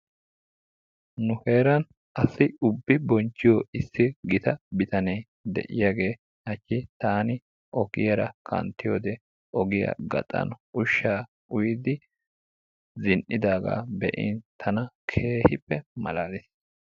Nu heeran asi ubbi bonchchiyoo issi gitta bitanee de'iyaagee haachchi taani ogiyaara kanttiyoode ogiyaa gaxan ushshaa uuyidi zini"idagaa be"in tana keehippe malaliis.